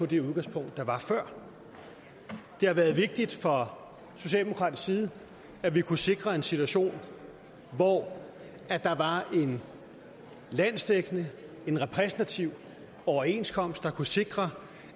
det udgangspunkt der var før det har været vigtigt fra socialdemokratisk side at vi kunne sikre en situation hvor der var en landsdækkende repræsentativ overenskomst der kunne sikre